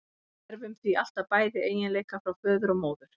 Við erfum því alltaf bæði eiginleika frá föður og móður.